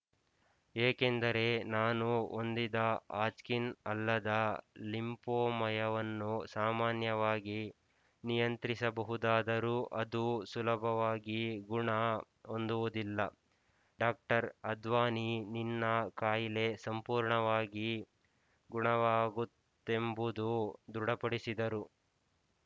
ಏಕೆಂದರೆ ನಾನು ಹೊಂದಿದ ಹಾಜ್‍ಕಿನ್ ಅಲ್ಲದ ಲಿಂಫೋಮಯವನ್ನು ಸಾಮಾನ್ಯವಾಗಿ ನಿಯಂತ್ರಿಸಬಹುದಾದರೂ ಅದು ಸುಲಭವಾಗಿ ಗುಣ ಹೊಂದುವುದಿಲ್ಲ ಡಾಕ್ಟರ್ ಅದ್ವಾನಿ ನಿನ್ನ ಕಾಯಿಲೆ ಸಂಪೂರ್ಣವಾಗಿ ಗುಣವಾಗುತ್ಯೆಂಬುದು ದೃಢಪಡಿಸಿದರು